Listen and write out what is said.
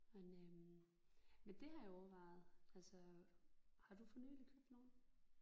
Men øh men det har jeg overvejet altså. Har du for nyligt købt nogen?